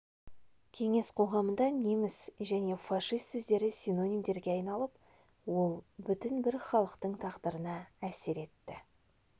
кеңес қоғамында неміс және фашист сөздері синонимдерге айналып ол бүтін бір халықтың тағдырына әсер етті